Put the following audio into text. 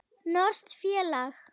Norskt félag.